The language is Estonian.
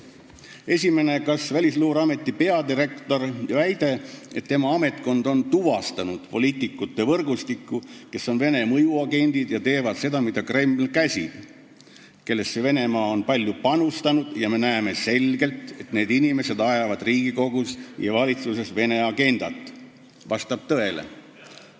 Esimene: "Kas Välisluureameti peadirektori väide, et tema ametkond on tuvastanud poliitikute võrgustiku, kes on Vene mõjuagendid ja teevad seda, mida Kreml käsib, kellesse Venemaa on palju panustanud ja me näeme selgelt, et need inimesed ajavad Riigikogus ja valitsuses Vene agendat, vastab tõele?